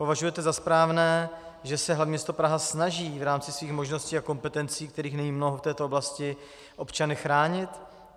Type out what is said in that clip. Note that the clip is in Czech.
Považujete za správné, že se hlavní město Praha snaží v rámci svých možností a kompetencí, kterých není mnoho v této oblasti, občany chránit?